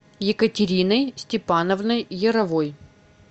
екатериной степановной яровой